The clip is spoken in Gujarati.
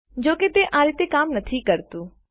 જો કે તે આ રીતે કામ કરતું નથી